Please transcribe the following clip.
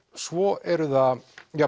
svo eru það